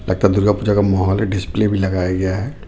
लगता दुर्गा पूजा का मोहोल है डिस्प्ले भी लगाया गया है.